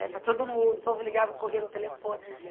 Para todo mundo, o povo ligava, corria no telefone.